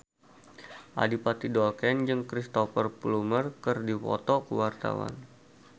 Adipati Dolken jeung Cristhoper Plumer keur dipoto ku wartawan